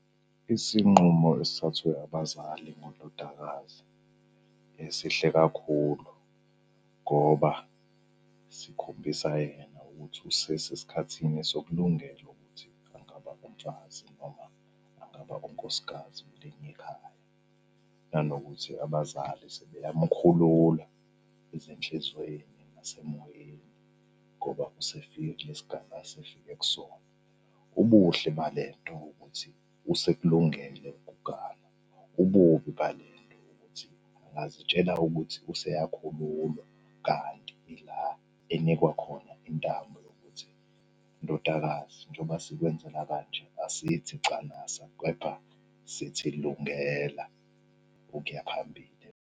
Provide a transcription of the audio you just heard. Isinqumo esithathwe abazali ngondodakazi esihle kakhulu ngoba sikhombisa yena ukuthi usesesikhathini sokulungela ukuthi angaba umfazi noma angaba unkosikazi kuleli khaya. Nanokuthi abazali sebeyamkhulula ezinhlizweni nasemoyeni ngoba usefike kule sigaba asefike kusona. Ubuhle bale nto ukuthi usekulungele ukuganwa. Ububi bale nto ukuthi, angazitshela ukuthi useyakhululwa, kanti ila enikwa khona intambo yokuthi, ndodakazi, njoba sikwenzela kanje asithi canasa, kepha sithi lungela ukuya phambili.